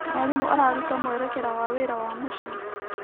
Mwarimũ araruta mwerekera wa wĩra wa mũciĩ.